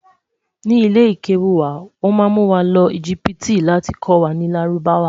ní ilè kewu wà, wọn má mú wà ló egipti láti kò wà nì lárúbáwá